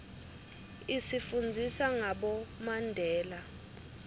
isifundzisa ngabomandela